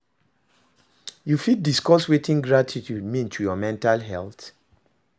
you fit discuss wetin gratitude mean to your mental health?